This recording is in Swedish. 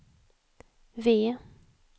V